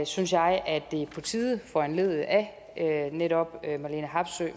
synes jeg at det er på tide foranlediget af netop